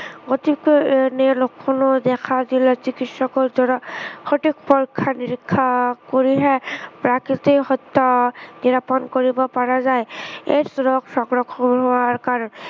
অতিকৈ এনে লক্ষণে দেখা দিলে চিকিৎসকৰ দ্বাৰা সঠিক পৰীক্ষা নিৰীক্ষা কৰিহে প্ৰাকৃত সত্য় নিৰাপণ কৰিব পৰা যায়। AIDS ৰোগ সংক্ৰমণ হোৱাৰ কাৰণ